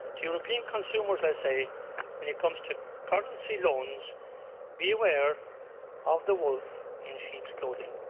To European consumers I say, when it comes to currency loans, beware of the wolf in sheep's clothing